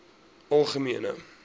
algemene